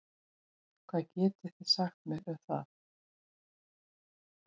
Hvað getið þið sagt mér um það?